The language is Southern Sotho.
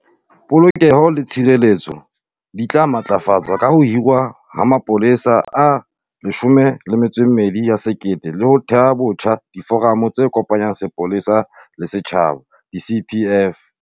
Polokeho le tshireletso di tla matlafatswa ka ho hirwa ha mapolesa a 12 000 le ho theha botjha diforamo tse kopanyang sepolesa le setjhaba, di-CPF.